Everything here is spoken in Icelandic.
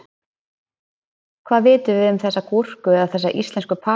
Hvað vitum við um þessa gúrku eða þessar íslensku paprikur?